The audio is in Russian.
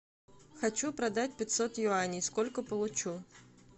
хочу продать пятьсот юаней сколько получу